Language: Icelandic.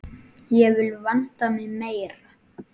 Ég vil vanda mig meira.